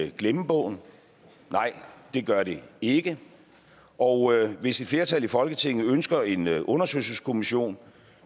i glemmebogen nej det gør det ikke og hvis et flertal i folketinget ønsker en undersøgelseskommission